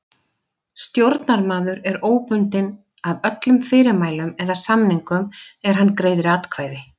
Stjórnarmaður er óbundinn af öllum fyrirmælum eða samningum er hann greiðir atkvæði.